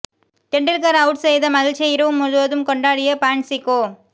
தெண்டுல்கரை out செய்த மகிழ்ச்சியை இரவு முழுவதும் கொண்டாடிய பான்சிகோ